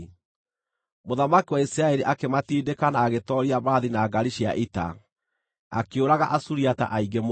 Mũthamaki wa Isiraeli akĩmatindĩka na agĩtooria mbarathi na ngaari cia ita, akĩũraga Asuriata aingĩ mũno.